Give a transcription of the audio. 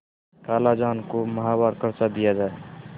खालाजान को माहवार खर्च दिया जाय